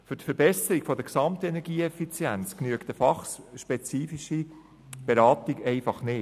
Für die Verbesserung der Gesamtenergieeffizienz genügt eine fachspezifische Beratung einfach nicht.